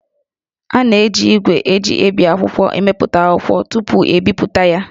A na-eji ígwè e ji ebi akwụkwọ emepụta akwụkwọ tupu,e bipụta ya